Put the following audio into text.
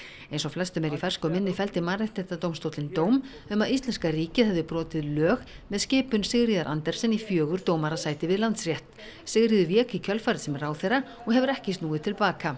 eins og flestum er í fersku minni felldi Mannréttindadómstóllinn dóm um að íslenska ríkið hefði brotið lög með skipun Sigríðar Andersen í fjögur dómarasæti við Landsrétt Sigríður vék í kjölfarið sem ráðherra og hefur ekki snúið til baka